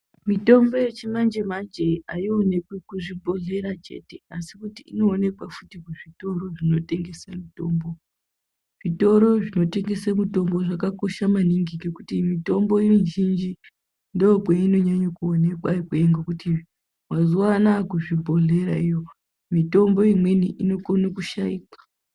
Mitombo yechimanjemenje aionekwi kuchibhehleya chete asi kuti inookwa futi kuzvitoro zvinotengese mitombo ,zvitoro zvinotengese mitombo zvakakosha maningi ngekuti mitombo mizhinji ndikwo kwainonyanya kuonekwa ikweyo nekuti mazuwa anaya kuzvibhehleya iyo mitombo imweni inokone kushaikwa.